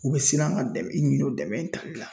U bɛ siran ka dɛmɛ i ɲini o dɛmɛ talila .